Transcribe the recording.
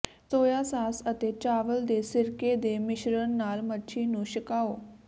ਸੋਇਆ sauce ਅਤੇ ਚਾਵਲ ਦੇ ਸਿਰਕੇ ਦੇ ਮਿਸ਼ਰਣ ਨਾਲ ਮੱਛੀ ਨੂੰ ਛਕਾਉ